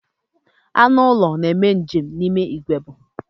Anụ ụlọ na-eme njem n'ime igbe ebu.